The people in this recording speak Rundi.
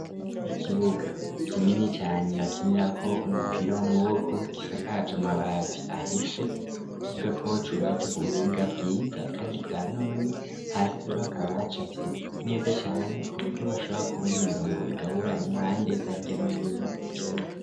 Ikibuga kinini cane, bakinira ko umupira w'amuboko kisakaj' Amabati ahise, kuvuga ko cubatse ku buhinga bwiza, kandi bwa none, hasi hakaba hacafye neza cane kuburyo bashobora kubona imirongo igabura impande za hirya no hino ikibuga.